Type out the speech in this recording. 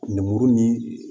Lemuru ni